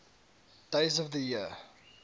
days of the year